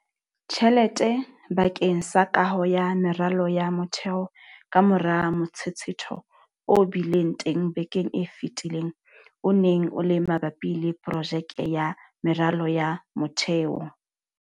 Tjhelete bakeng sa kaho ya meralo ya motheo kamora motshetshetho o bileng teng bekeng e fetileng o neng o le mabapi le projeke ya meralo ya motheo.